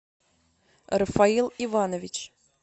рафаил иванович